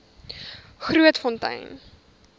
grootfontein